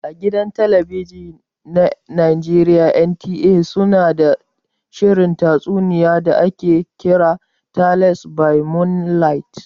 A gidan talabijin na Najeriya NTA su na da shirin tatsuniya da ake kira "Tales by moonlight".